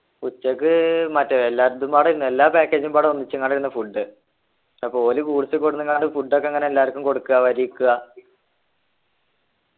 ഉച്ചക്ക് മറ്റേ എല്ലാരതും പാടെ ആരുന്നു എല്ലാ package പാടെ ഒന്നിച്ചങ്ങടാരുന്നു food അപ്പൊ ഓല് അങ്ങാണ്ട് food ഒക്കെ അങ്ങനെ എല്ലാര്ക്കും കൊടുക്കാ വരിക്ക്ആ